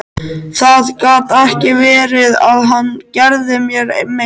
Það gat ekki verið að hann gerði mér mein.